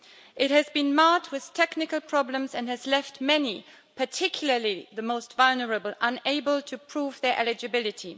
It has been marred with technical problems and has left many, particularly the most vulnerable, unable to prove their eligibility.